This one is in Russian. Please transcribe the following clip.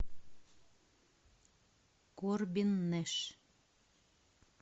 корбин нэш